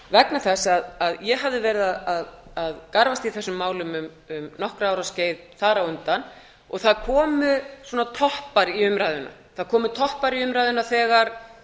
vegna þess að ég hafði verið að garfa í þessum málum um nokkurra ára skeið þar á undan og það komu svona toppar í umræðuna þegar